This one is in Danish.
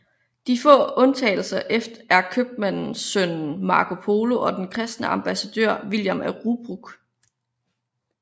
De få undtagelser er købmandssønnen Marco Polo og den kristne ambassadør William af Rubruck